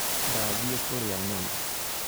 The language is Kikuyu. Ndathiĩ kũria nyama